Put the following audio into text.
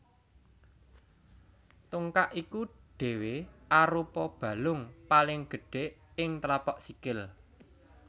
Tungkak iku dhéwé arupa balung paling gedhé ing tlapak sikil